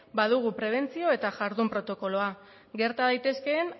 badugu prebentzio eta jardun protokoloa gerta daitezkeen